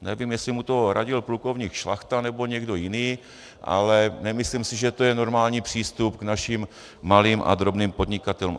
Nevím, jestli mu to radil plukovník Šlachta, nebo někdo jiný, ale nemyslím si, že to je normální přístup k našim malým a drobným podnikatelům.